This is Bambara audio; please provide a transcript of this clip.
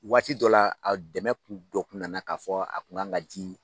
Waati dɔ la a dɛmɛ dɔ kun nana k'a fɔ a tun kan ka di